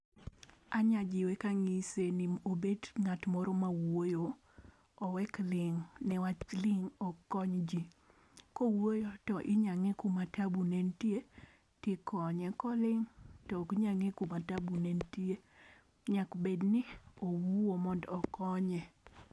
Anya jiwe ka ang'ise ni obet ng'at moro wuoyo owek ling' ne wach ling' ok kony ji ka owuoyo to inya nge kama taabu ne niyie ti ikonyo ,ko oling to ok nya ng'e kama taabu ne nitie nyaka bed ni owuo mondo okonye.